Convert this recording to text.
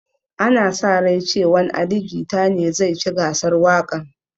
Ana sa rai cewan ali jita ne zai ci gasar waƙan